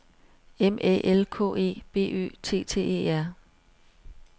M Æ L K E B Ø T T E R